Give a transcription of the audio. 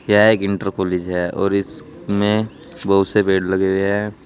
यह एक inter college है और इस में बहुत से पेड़ लगे हुए हैं।